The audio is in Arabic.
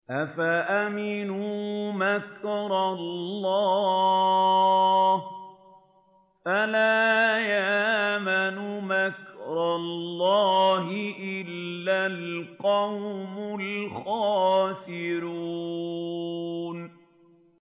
أَفَأَمِنُوا مَكْرَ اللَّهِ ۚ فَلَا يَأْمَنُ مَكْرَ اللَّهِ إِلَّا الْقَوْمُ الْخَاسِرُونَ